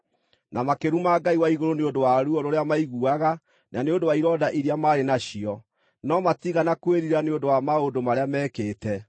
na makĩruma Ngai wa igũrũ nĩ ũndũ wa ruo rũrĩa maiguaga na nĩ ũndũ wa ironda iria maarĩ nacio, no matiigana kwĩrira nĩ ũndũ wa maũndũ marĩa meekĩte.